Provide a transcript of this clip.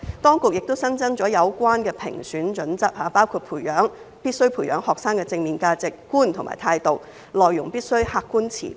當局亦新增了有關的評選準則，包括必須培養學生的正面價值觀及態度，內容必須客觀持平。